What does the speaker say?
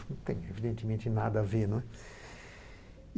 Não tem, evidentemente, nada a ver, né.